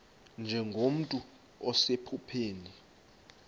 nje nomntu osephupheni